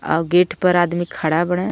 Gate पे आदमी खड़ा बाणे.